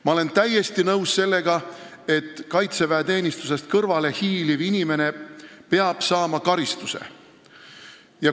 Ma olen täiesti nõus, et kaitseväeteenistusest kõrvale hiiliv inimene peab saama karistuse.